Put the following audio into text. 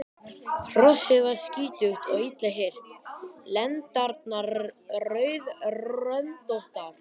Hrossið var skítugt og illa hirt og lendarnar rauðröndóttar.